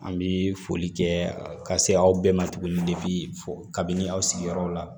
An bi foli kɛ ka se aw bɛɛ ma tuguni kabini aw sigiyɔrɔw la